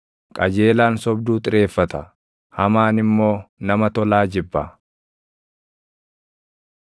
Qajeelaan sobduu xireeffata; hamaan immoo nama tolaa jibba.